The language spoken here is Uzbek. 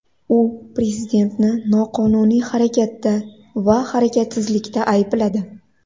U prezidentni noqonuniy harakatda va harakatsizlikda aybladi.